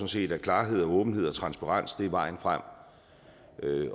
set at klarhed og åbenhed og transparens er vejen frem